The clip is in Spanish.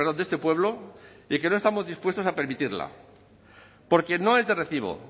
de este pueblo y que no estamos dispuestos a permitirla porque no es de recibo